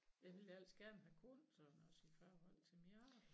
Jeg ville ellers gerne have kunnet sådan noget også i forhold til mit arbejde